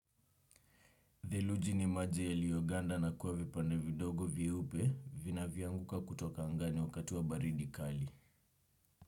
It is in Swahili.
Dheluji ni maji yealio ganda na kuwa vipande vidogo vyeupe vina vyo anguka kutoka angani wakati baridi kali.